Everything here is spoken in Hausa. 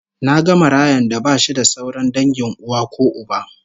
Naga marayan da bashi da sauran dangin uwa ko uba